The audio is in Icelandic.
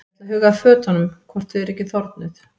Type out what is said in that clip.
Ég ætla að huga að fötunum hvort þau eru ekki þornuð.